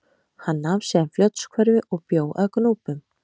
Hann nam síðan Fljótshverfi og bjó að Gnúpum.